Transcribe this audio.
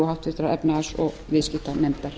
háttvirtrar efnahags og viðskiptanefndar